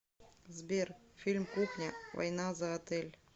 сбер фильм кухня война за отель